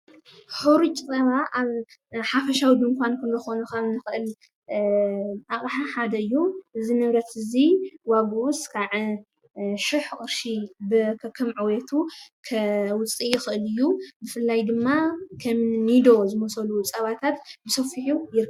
ሕሩጭ ፀባ ኣብ ሓፈሻዊ ድንዃን ክንረኽቦ ንኽእል ኣቕሓ ሓደ እዩ፡፡ እዚ ንብረት እዚ ዋግኡ እስካብ ሽሕ ቅርሺ ከከምዕብየቱ ከውፅእ ይኽእል እዩ፡፡ ብፍላይ ድማ ከም ኒዶ ዝመሰሉ ፀባታት ብሰፊሑ ይርከቡ፡፡